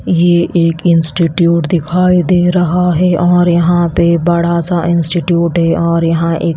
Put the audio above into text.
ये एक इंस्टीट्यूट दिखाई दे रहा है और यहां पे बड़ा सा इंस्टीट्यूट है और यहां एक--